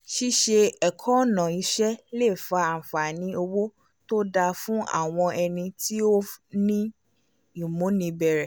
ṣíṣe ẹ̀kọ́ ọ̀nà iṣẹ́ le fa àǹfààní owó tó dáa fún àwọn ẹni tí ó ní ìmúnibẹ̀rẹ̀